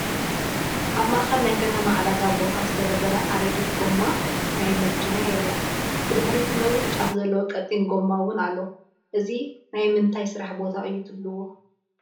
ኣብ ማአኸል ናይ ከተማ ዕዳጋ ቦታ ዝተደርደረ ኣረጊት ጎማ ናይ መኪና ይረአ፡፡ ብድሕሪቱ ነዊሕ ጫፍ ዘለዎ ቀጢን ጎማ ውን ኣሎ፡፡ እዚ ናይ ምንታይ ስራሕ ቦታ እዩ ትብሉ?